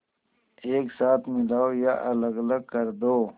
एक साथ मिलाओ या अलग कर दो